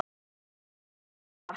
Dömur og herrar!